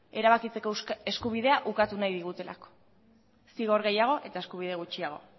erabakitzeko eskubidea ukatu nahi digutelako zigor gehiago eta eskubide gutxiago